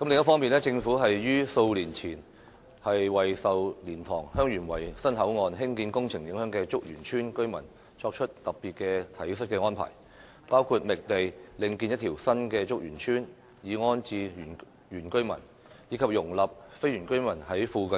另一方面，政府於數年前為受蓮塘/香園圍新口岸興建工程影響的竹園村居民作出特別的體恤安排，包括覓地另建一條新竹園村以安置原居民，以及容許非原居民在附